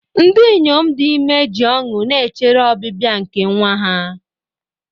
Ndị inyom dị ime ji ọṅụ na-echere ọbịbịa nke nwa ha.